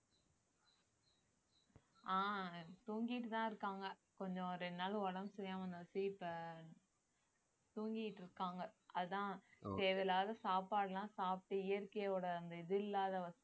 ஆஹ் தூங்கிட்டுதான் இருக்காங்க கொஞ்சம் ரெண்டு நாள் உடம்பு சரியில்லாம இப்ப தூங்கிட்டு இருக்காங்க அதான் தேவை இல்லாத சாப்பாடு எல்லாம் சாப்பிட்டு இயற்கையோட அந்த இது இல்லாத வச்சு